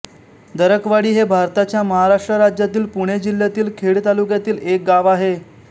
दरकवाडी हे भारताच्या महाराष्ट्र राज्यातील पुणे जिल्ह्यातील खेड तालुक्यातील एक गाव आहे